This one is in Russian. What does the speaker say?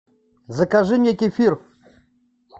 закажи мне кефир